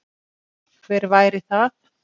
Hver væri það?